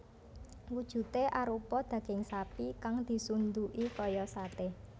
Wujudé arupa daging sapi kang disunduki kaya saté